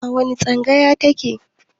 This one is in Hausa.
Wani tsangaya ta ke?